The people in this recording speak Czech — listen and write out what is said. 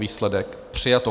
Výsledek: přijato.